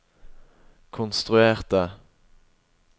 konstruerte